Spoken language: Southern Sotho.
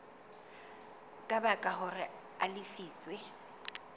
ka baka hore a lefiswe